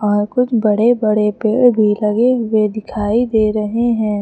और कुछ बड़े बड़े पेड़ भी लगे हुए दिखाई दे रहे हैं।